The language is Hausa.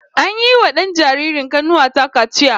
An yiwa dan jaririn kanuwa ta kaciya